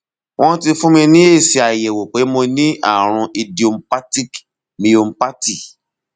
wọn ti fún mi ní èsì àyẹwò pé mo ní àrùn idiopathic myopathy